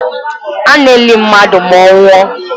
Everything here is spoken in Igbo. A na-eli mmadụ ma ọ nwụọ